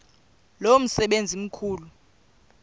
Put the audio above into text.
lo msebenzi mkhulu